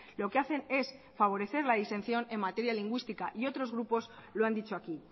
lo que hacen es favorecer la disensión en materia lingüística y otros grupos lo han dicho aquí